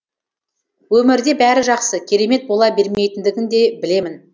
өмірде бәрі жақсы керемет бола бермейтіндігін де білемін